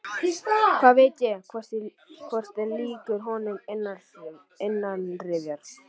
Hvað veit ég, hvort ég er líkur honum innanrifja?